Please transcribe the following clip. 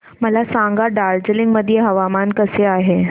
मला सांगा दार्जिलिंग मध्ये हवामान कसे आहे